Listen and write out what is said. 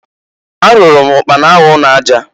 Arụụrụ m ụkpana ahụ ụnọ aja.